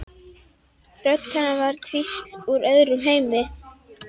Rödd hennar var sem hvísl úr öðrum heimi.